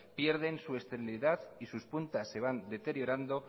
pierden su esterilidad y sus puntas se van deteriorando